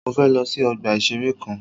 Mọ fẹ lọ sí ọgbà ìṣẹ̀rẹ́ kan.